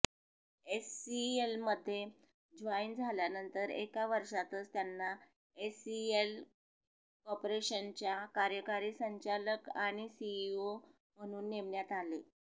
एचसीएलमध्ये join झाल्यानंतर एका वर्षातच त्यांना एचसीएल कॉर्पोरेशनच्या कार्यकारी संचालक आणि सीईओ म्हणून नेमण्यात आले